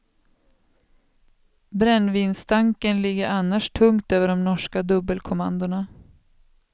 Brännvinsstanken ligger annars tungt över de norska dubbelkommandona.